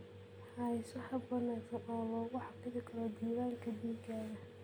Hayso hab wanaagsan oo lagu xafido diiwaanka digaaga.